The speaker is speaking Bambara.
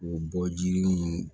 U bɔ jiriw